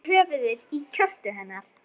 Leggur höfuðið í kjöltu hennar.